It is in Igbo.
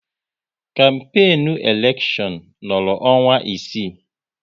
Kampenu elekshon nọrọ ọnwa isii